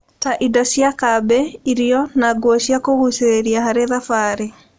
ta indo cia kambĩ, irio, na nguo cia kũgucĩrĩria harĩ thabarĩ.